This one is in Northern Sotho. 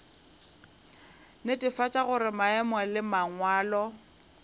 netefatša gore maemo le mangwalo